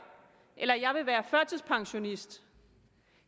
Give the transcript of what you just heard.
eller jeg vil være førtidspensionist